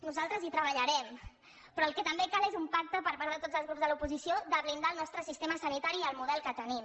nosaltres hi treballarem però el que també cal és un pacte per part de tots els grups de l’oposició de blindar el nostre sistema sanitari i el model que tenim